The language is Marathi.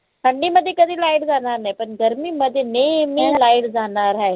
थंडीमध्ये कधी light जानार नाही पण गर्मीमध्ये नेहमी light जानार हाय